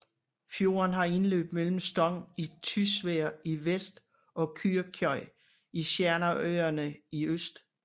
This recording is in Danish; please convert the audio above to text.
Fjorden har indløb mellem Stong i Tysvær i vest og Kyrkjøy i Sjernarøyane i øst